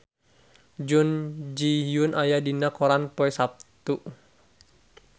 Jun Ji Hyun aya dina koran poe Saptu